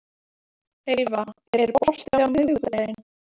Eyva, er bolti á miðvikudaginn?